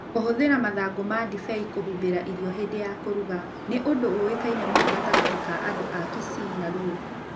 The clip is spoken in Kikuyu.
Kũhũthĩra mathangũ ma ndibei kũhumbĩra irio hĩndĩ ya kũruga nĩ ũndũ ũĩkaine mũno gatagatĩ-inĩ ka andũ a Kisii na Luo.